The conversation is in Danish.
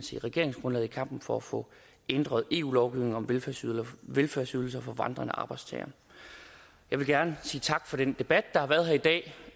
i regeringsgrundlaget i kampen for at få ændret eu lovgivningen om velfærdsydelser velfærdsydelser for vandrende arbejdstagere jeg vil gerne sige tak for den debat der har været her i dag